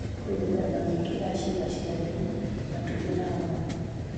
Kwĩ mĩthemba mĩingĩ ya ciĩga cia thiri, matumbĩ na homoni.